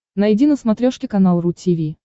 найди на смотрешке канал ру ти ви